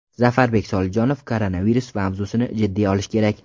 Zafarbek Solijonov Koronavirus mavzusini jiddiy olish kerak.